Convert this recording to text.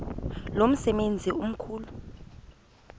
lo msebenzi mkhulu